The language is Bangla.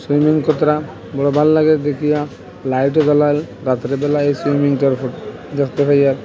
সুইমিং বড়ো ভাল লাগে দেখিয়া লাইট ও জ্বলে রাত্রেবেলায় সুইমিং দেখতে পাইয়া।